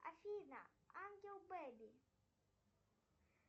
афина ангел бэби